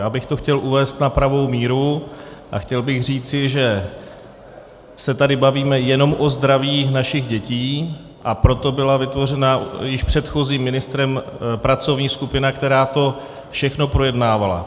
Já bych to chtěl uvést na pravou míru a chtěl bych říci, že se tady bavíme jenom o zdraví našich dětí, a proto byla vytvořena již předchozím ministrem pracovní skupina, která to všechno projednávala.